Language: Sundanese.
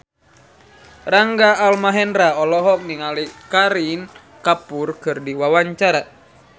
Rangga Almahendra olohok ningali Kareena Kapoor keur diwawancara